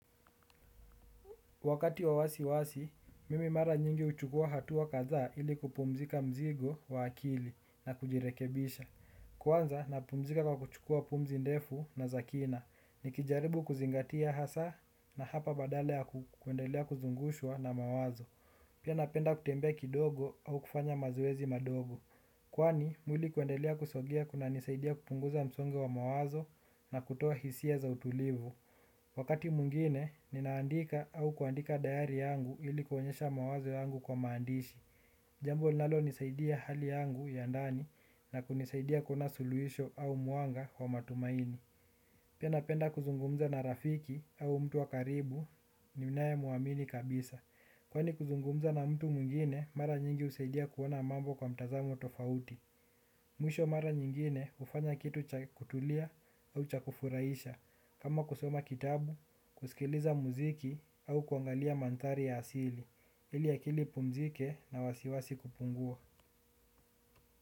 Wakati wa wasiwasi, mimi mara nyingi huchukua hatua kadhaa ili kupumzika mzigo wa akili na kujirekebisha. Kwanza, napumzika kwa kuchukua pumzi ndefu na za kina. Nikijaribu kuzingatia hasa na hapa badala ya kuendelea kuzungushwa na mawazo. Pia napenda kutembea kidogo au kufanya mazoezi madogo. Kwani, mwili kuendelea kusogea kunanisaidia kupunguza msongo wa mawazo na kutoa hisia za utulivu. Wakati mwingine, ninaandika au kuandika dayari yangu ili kuonyesha mawazo yangu kwa maandishi. Jambo linalonisaidia hali yangu ya ndani na kunisaidia kuona suluhisho au mwanga wa matumaini. Pia napenda kuzungumza na rafiki au mtu wa karibu ni ninayemwamini kabisa. Kwani kuzungumza na mtu mwingine, mara nyingi husaidia kuona mambo kwa mtazamo tofauti. Mwisho mara nyingine hufanya kitu cha kutulia au cha kufurahisha. Kama kusoma kitabu, kusikiliza muziki au kuangalia mandhari ya asili ili akili ipumzike na wasiwasi kupungua.